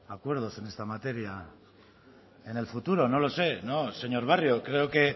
a acuerdos en esta materia en el futuro no lo sé no señor barrio creo que